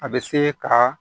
A bɛ se ka